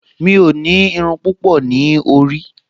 Mi ò ní irun púpọ̀ ní orí